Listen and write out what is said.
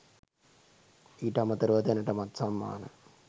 ඊට අමතරව දැනටමත් සම්මාන